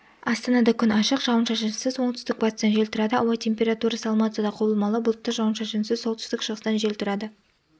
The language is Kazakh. астанада күн ашық жауын-шашынсыз оңтүстік-батыстан жел тұрады ауа температурасы алматыда құбылмалы бұлтты жауын-шашынсыз солтүстік-шығыстан жел тұрады